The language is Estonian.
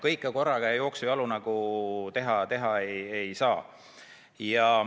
Kõike korraga ja jooksujalu teha ei saa.